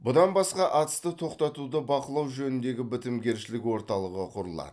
бұдан басқа атысты тоқтатуды бақылау жөніндегі бітімгершілік орталығы құрылады